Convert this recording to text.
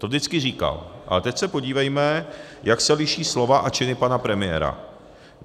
To vždycky říkal, ale teď se podívejme, jak se liší slova a činy pana premiéra.